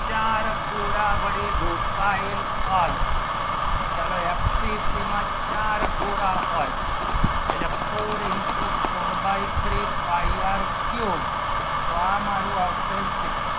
ચાર ગુના વળે લોકેયેલ કદ ચલો FCC માં ચાર ગોળા હોય four into four by three pie r cube તો મારું આવશે six